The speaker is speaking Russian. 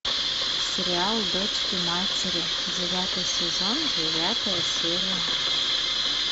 сериал дочки матери девятый сезон девятая серия